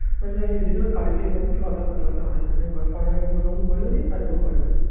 কালীপূজার অতএব কথাবার্তা হয় না. আর ও করে না.